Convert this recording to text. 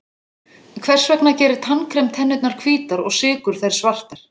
Hvers vegna gerir tannkrem tennurnar hvítar og sykur þær svartar?